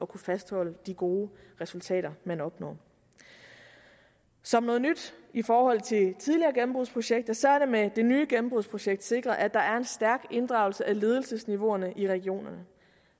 kunne fastholde de gode resultater man opnår som noget nyt i forhold til tidligere gennembrudsprojekteter er det med det nye gennembrudsprojekt sikret at der er en stærk inddragelse af ledelsesniveauerne i regionerne